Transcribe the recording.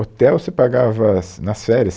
Hotel você pagava nas nas férias